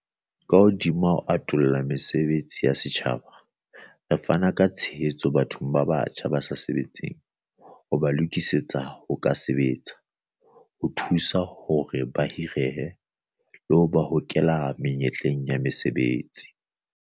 Ka hodima ho atolla mesebetsi ya setjhaba, re fana ka tshehetso bathong ba batjha ba sa sebetseng ho ba lokisetsa ho ka sebetsa, ho thusa hore ba hirehe, le ho ba hokela menyetleng ya mosebetsi.